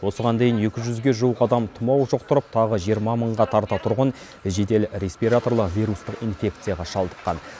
осыған дейін екі жүзге жуық адам тұмау жұқтырып тағы жиырма мыңға тарта тұрғын жедел респираторлы вирустық инфекцияға шалдыққан